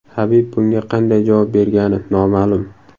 Habib bunga qanday javob bergani noma’lum.